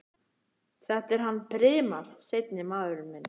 Þetta er hann Brimar. seinni maðurinn minn.